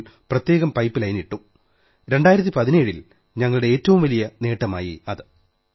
ഇപ്പോൾ പ്രത്യേകം pipeline ഇട്ടു 2017 ൽ ഞങ്ങളുടെ ഏറ്റവും വലിയ നേട്ടമായി അത്